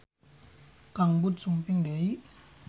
Kang Bud sumping deui